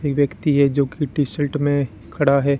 एक व्यक्ति है जोकि टी_शर्ट में खड़ा है।